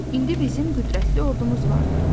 İndi bizim qüdrətli ordumuz vardır.